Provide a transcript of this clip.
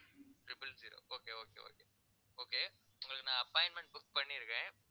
triple zero okay okay okay okay உங்களுக்கு நான் appointment book பண்ணியிருக்கேன்